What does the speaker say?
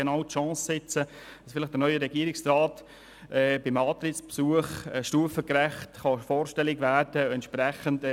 Jetzt besteht genau die Chance, sodass der neue Regierungsrat vielleicht beim Antrittsbesuch stufengerecht vorstellig werden kann.